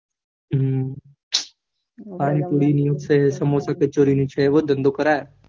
હમ પાણીપુરી, સમોસા, કચોરી, એવો ધંધો કરાય.